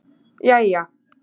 jæja